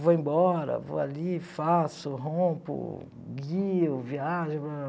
Vou embora, vou ali, faço, rompo, guio, viajo.